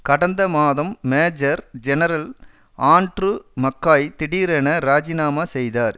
கடந்த மாதம் major general Andrew McKay திடீரென இராஜிநாமா செய்தார்